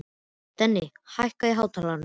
Denni, hækkaðu í hátalaranum.